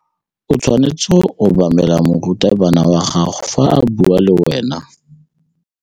O tshwanetse go obamela morutabana wa gago fa a bua le wena.